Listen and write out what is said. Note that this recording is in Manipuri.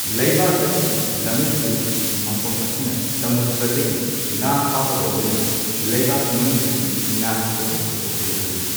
ꯂꯩꯕꯥꯛ ꯑꯁꯤꯒꯤ ꯂꯝꯃꯤꯠ ꯇꯨꯃꯤꯠꯀꯤ ꯃꯐꯝ ꯑꯁꯤꯅ ꯁꯃꯨꯗ꯭ꯔꯗꯒꯤ ꯉꯥ ꯐꯥꯕꯒ ꯂꯣꯏꯅꯅ ꯂꯩꯕꯥꯛꯀꯤ ꯃꯅꯨꯡꯗꯒꯤ ꯉꯥꯒꯤ ꯄꯧꯠꯊꯣꯛ ꯄꯣꯠꯊꯣꯛ ꯌꯥꯍꯜꯂꯤ꯫